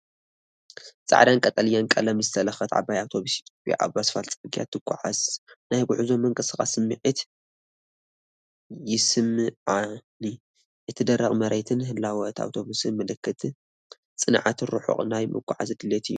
ጻዕዳን ቀጠልያን ቀለም ዝተለኽየት ዓባይ ኣውቶቡስ ኢትዮጵያ ኣብ ኣስፋልት ጽርግያ ትጓዓዝ። ናይ ጉዕዞን ምንቅስቓስን ስምዒት ይስምዓኒ። እቲ ደረቕ መሬትን ህላወ እታ ኣውቶቡስን ምልክት ጽንዓትን ርሑቕ ናይ ምጉዓዝ ድሌትን እዩ።